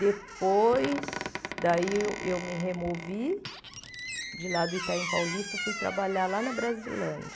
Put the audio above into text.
Depois, daí eu eu me removi de lá do Itaim Paulista, fui trabalhar lá na Brasilândia.